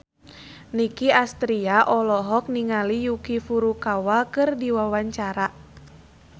Nicky Astria olohok ningali Yuki Furukawa keur diwawancara